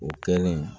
U kɛlen